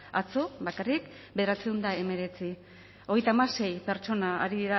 atzo bakarrik bederatziehun eta hemeretzi hogeita hamasei pertsona